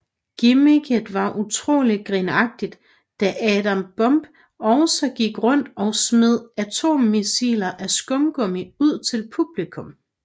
Gimmicket var utrolig grinagtigt da Adam Bomb også gik rundt og smed atommissiler af skumgummi ud til publikum